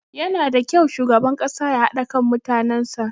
Yanada kyau shugaban ƙasa ya haɗa kan mutanen sa.